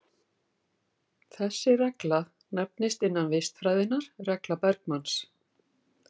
Þessi regla nefnist innan vistfræðinnnar regla Bergmanns.